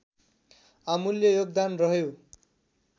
अमूल्य योगदान रह्यो